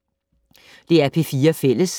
DR P4 Fælles